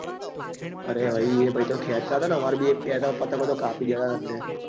અરે ભાઈ એ ભાઈ તો ખેંચતા હતા ને અમારે ત્યાં ના એક બે તો પતંગ કાપી ગયા તા ભાઈ